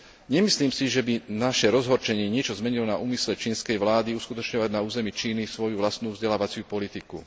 Nemyslím si, že by naše rozhorčenie niečo zmenilo na úmysle čínskej vlády uskutočňovať na území svoju vlastnú vzdelávaciu politiku.